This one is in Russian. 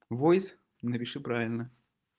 войс напиши правильно